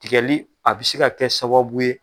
Tigɛli a bi se ka kɛ sababu ye.